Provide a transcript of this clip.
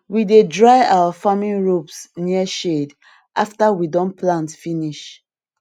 we dey dry our farming ropes near shed after we don plant finish